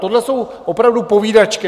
Tohle jsou opravdu povídačky.